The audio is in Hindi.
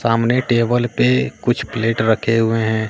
सामने टेबल पे कुछ प्लेट रखे हुए हैं।